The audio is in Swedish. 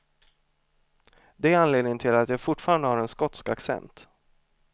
Det är anledningen till att jag fortfarande har en skotsk accent.